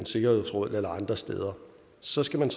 sikkerhedsråd eller andre steder så skal man